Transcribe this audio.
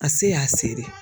A se y'a se de.